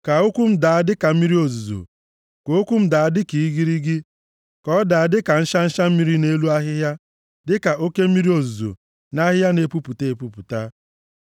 Ka okwu m daa dịka mmiri ozuzo ka okwu m daa dịka igirigi, ka ọ daa dịka nshansha mmiri nʼelu ahịhịa, dịka oke mmiri ozuzo nʼahịhịa na-epupụta epupụta.